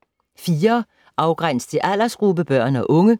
4. Afgræns til aldersgruppe: børn og unge